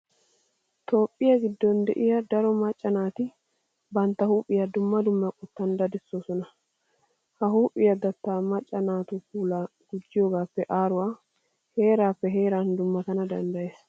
Toophphiya giddon de'iya daro macca naati bantta huuphiya dumma dumma qottan daddoosona.ha huuphiya datta macca naatu puulaa gujjiyogaappe aaruwa heeraattuwan heeraattuwan dummatana danddayees.